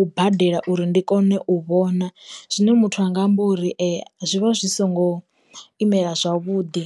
u badela uri ndi kone u vhona, zwine muthu anga amba uri zwi vha zwi songo imela zwavhuḓi.